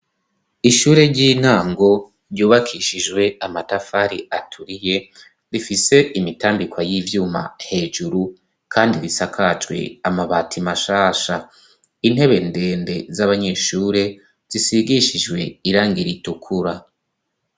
ishure ry'intango ryubakishijwe amatafari aturiye rifise imitambika y'ivyuma hejuru kandi risakajwe amabati mashasha intebe ndende z'abanyeshure zisigishijwe irangi r'itukura